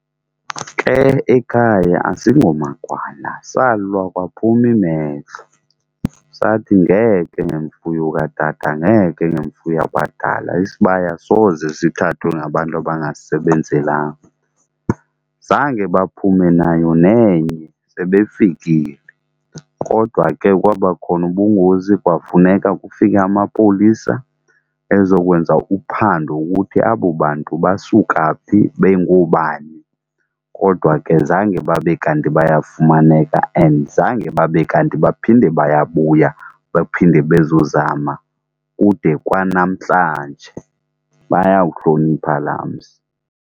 Ke ekhaya asingomagwala, salwa kwaphuma imehlo. Sathi ngeke ngemfuyo katata ngeke, ngemfuyo yabadala isibaya soze sithathwe ngabantu abangasisebenzelanga. Zange baphume nayo nenye, sebefikile kodwa ke kwaba khona ubungozi kwafuneka kufike amapolisa ezokwenza uphando ukuthi abo bantu basuka phi bengoobani. Kodwa ke zange babe kanti bayafumaneka and zange babe kanti baphinde bayabuya bephinde bezozama kude kwanamhlanje bayawuhlonipha laa mzi.